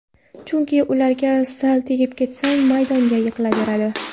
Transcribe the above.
Chunki ularga sal tegib ketsang, maydonga yiqilaveradi.